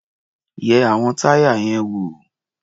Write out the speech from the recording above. Yẹ àwọn táyà yẹn wò.